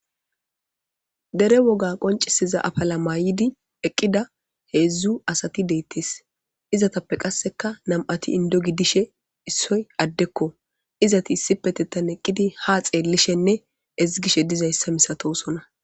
dere woga qoncisiza afala mayidi eqqida heedzdzu asati deettees izatappe qasseka nam7ati indo gidishe issoy addekko izati issipetettan eqqidi ha xeellishenne ezgishe dizayssa misatosona